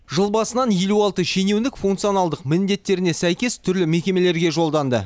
жыл басынан елу алты шенеунік функционалдық міндеттеріне сәйкес түрлі мекемеге жолданды